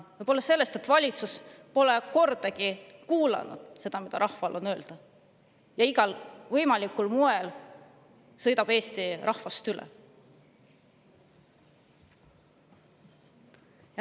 Võib-olla seetõttu, et valitsus pole kordagi kuulanud seda, mida rahval on öelda, ja igal võimalikul moel sõidab Eesti rahvast üle.